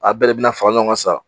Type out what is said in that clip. A bɛɛ de bi na fara ɲɔgɔn kan sa.